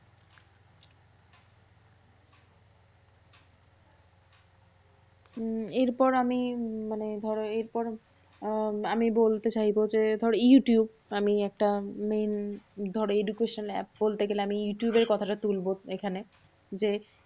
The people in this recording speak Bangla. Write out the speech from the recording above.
উম এরপর আমি মানে ধরো এরপর আহ আমি বলতে চাইবো যে ধরো youtube । আমি একটা main ধরো education app বলতে গেলে আমি youtube এর কথাটা তুলবো এখানে। যে